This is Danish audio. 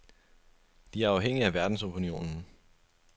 De er afhængige af verdensopinionen.